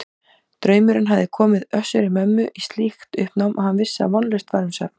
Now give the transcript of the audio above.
Draumurinn hafði komið Össuri-Mömmu í slíkt uppnám að hann vissi að vonlaust var um svefn.